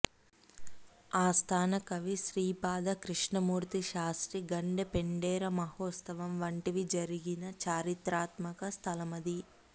ఆస్థాన కవి శ్రీపాద కృష్ణమూర్తి శాస్త్రి గండపెండేర మహోత్సవం వంటివి జరిగిన చరిత్రాత్మక స్థలమది